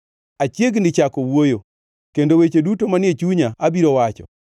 Achiegni chako wuoyo; kendo weche duto manie chunya abiro wacho.